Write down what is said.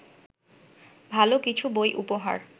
ভালো কিছু বই উপহার